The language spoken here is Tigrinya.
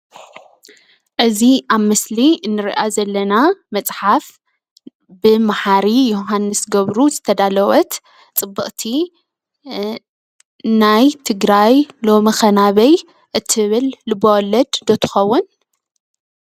እዚ አብ ምስሊ እንሪኦ ዘለና መፅሓፍ ብመሓሪ የውሃንስ ገብሩ ዝተዳለወት ፅብቅቲ ናይ ትግራይ ሎምከ ናበይ እትብል ልብወለድ ዶ ትከውን?